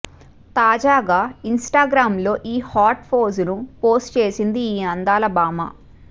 తాజాగా Instagram లో ఈ హాట్ పోజును పోస్టు చేసింది ఈ అందాల భామ